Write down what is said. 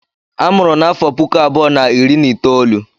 A mụrụ n'afọ puku abụọ na iri na itoolu.